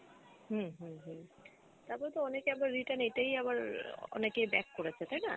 হম হম হম তারপর তো অনেকেই আবার return এটাই আবার অনেকেই back করেছে তাইনা।